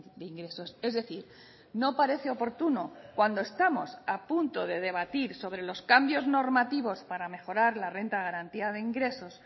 de ingresos es decir no parece oportuno cuando estamos a punto de debatir sobre los cambios normativos para mejorar la renta de garantía de ingresos